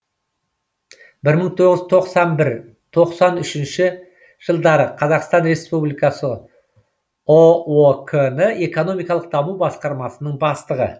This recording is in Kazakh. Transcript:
бір мың тоғыз жүз тоқсан бір тоқсан үшінші жылдары қазақстан республикасы ұок і экономикалық даму басқармасының бастығы